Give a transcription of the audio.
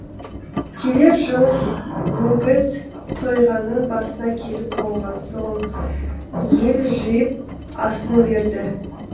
келер жыл өгіз сойғанның басына келіп қонған соң ел жиып асын берді